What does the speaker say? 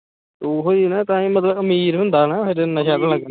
ਉਹੀ ਨਾ ਤਾਂ ਹੀ ਮਤਲਬ ਅਮੀਰ ਹੁੰਦਾ ਨਾ ਫਿਰ ਨਸ਼ਾ ਤਾਂ,